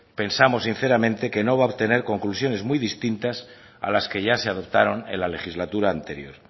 pensamos sinceramente que no va a obtener conclusiones muy distintas a las que ya se adoptaron en la legislatura anterior